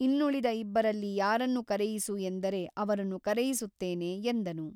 ಇನ್ನುಳಿದ ಇಬ್ಬರಲ್ಲಿ ಯಾರನ್ನು ಕರೆಯಿಸು ಎಂದರೆ ಅವರನ್ನು ಕರೆಯಿಸುತ್ತೇನೆ ಎಂದನು.